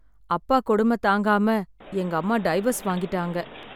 அப்பா கொடுமை தாங்காம எங்க அம்மா டைவர்ஸ் வாங்கிட்டாங்க.